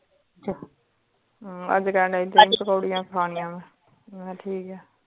ਅਮ ਅੱਜ ਕਹਿੰਦਾ ਪੋਕਰੀਆਂ ਖਾਣੀ ਮੈਂ ਮਕਾ ਠੀਕ ਹੈ